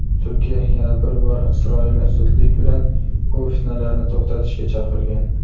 Turkiya yana bir bor Isroilni zudlik bilan bu fitnalarni to‘xtatishga chaqirgan.